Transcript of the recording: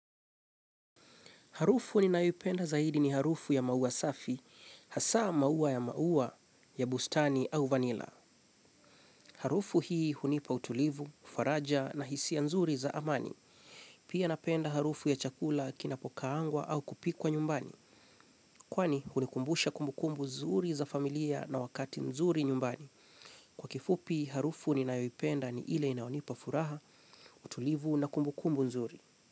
Harufu ninayoipenda zaidi ni harufu ya maua safi, hasa maua ya maua ya bustani au vanila. Harufu hii hunipa utulivu, faraja na hisiya nzuri za amani. Pia napenda harufu ya chakula kinapokaangwa au kupikwa nyumbani. Kwani hunikumbusha kumbukumbu zuri za familia na wakati nzuri nyumbani. Kwa kifupi, harufu ninayoipenda ni ile inaonipa furaha, utulivu na kumbukumbu zuri.